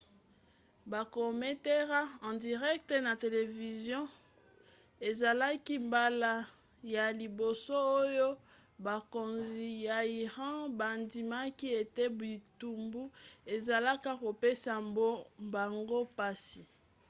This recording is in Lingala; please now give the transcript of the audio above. bakomantere en direct na televizio ezalaki mbala ya liboso oyo bakonzi ya iran bandimaki ete bitumbu ezalaka kopesa bango mpasi